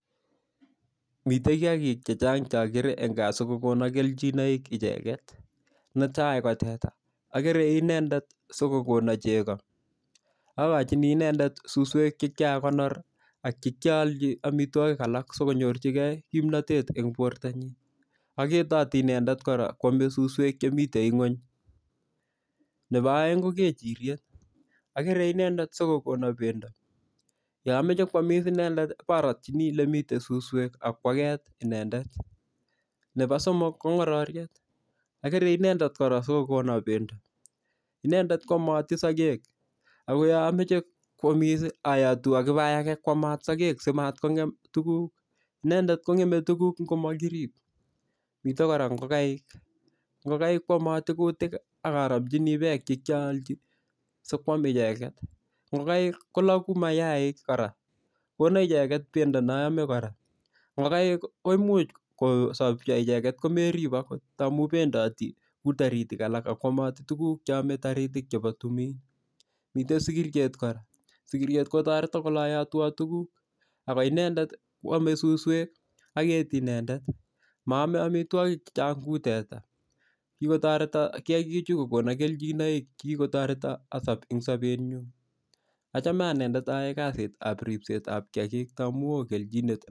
Mitei kiyakik chechang' chakere eng' kaa sikokono keljinoik icheget netai ko teta akere inendet sikokono chego akochini inendet suswek chekyakonor ak chikyaolji omitwokik alak sikonyorchigei kimnotet eng' bortonyin aketoti inendet kwomei suswek chemitei ng'weny nebo oeng' ko kechiriet akere inendet sikokono bendo yo ameche kwomis inendet ko nyarotchini ole mitei suswek akwaket inendet nebo somok ko ng'ororyet akere inendet kora sikokono bendo inendet koomoti sokek ako yo amoche kwomis ayotu akibayake koamat sokek simat ko ng'em tuguk inendet kong'emei tuguk ngomakirib mitei kora ngokaik ngokaik kwomotei kutik akaromchini beek chechang' sikwam icheget ngokaik koloku mayaik kora kono icheget bendo noome kora ngokaik ko imuch kosopcho icheget komerip akot amu bendoti kou toritik alak akwomoti tuguk cheomei toritik chebo tumin mitei sikiriet kora sikiriet kotoreto koloyotwa tuguk ako inendet kwomei suswek aketi inendet maomei omitwokik chechang' kou teta kikotoreto kiyakichu kokono keljinoik kikotoreto asop eng' sobetnyu achome anendet ayoe kasitab ripset amu oo kenjinet